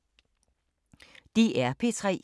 DR P3